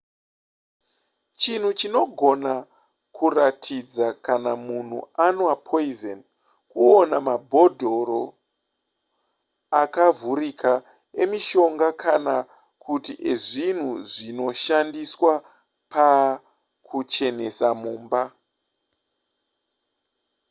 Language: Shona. chinhu chinogona kuratidza kana munhu anwa poison kuona mabhodhoro akavhurika emishonga kana kuti ezvinhu zvinoshandiswa pakuchenesa mumba